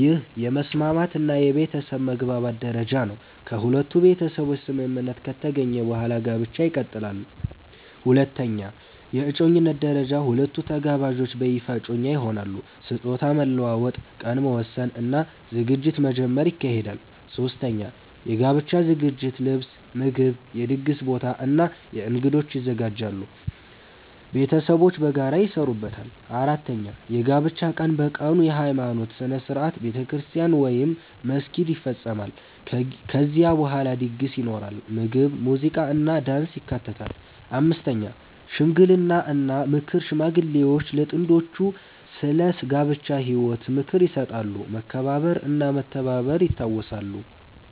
ይህ የመስማማት እና የቤተሰብ መግባባት ደረጃ ነው። ከሁለቱ ቤተሰቦች ስምምነት ከተገኘ በኋላ ጋብቻ ይቀጥላል። 2) የእጮኝነት ደረጃ ሁለቱ ተጋባዦች በይፋ እጮኛ ይሆናሉ። ስጦታ መለዋወጥ፣ ቀን መወሰን እና ዝግጅት መጀመር ይካሄዳል። 3) የጋብቻ ዝግጅት ልብስ፣ ምግብ፣ የድግስ ቦታ እና እንግዶች ይዘጋጃሉ። ቤተሰቦች በጋራ ይሰሩበታል። 4) የጋብቻ ቀን በቀኑ የሃይማኖት ሥነ ሥርዓት (ቤተክርስቲያን ወይም መስጊድ) ይፈጸማል። ከዚያ በኋላ ድግስ ይኖራል፣ ምግብ፣ ሙዚቃ እና ዳንስ ይካተታሉ። 5) ሽምግልና እና ምክር ሽማግሌዎች ለጥንዶቹ ስለ ጋብቻ ህይወት ምክር ይሰጣሉ፣ መከባበር እና መተባበር ይታወሳሉ።